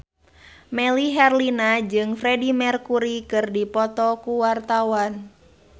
Melly Herlina jeung Freedie Mercury keur dipoto ku wartawan